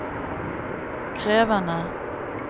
krevende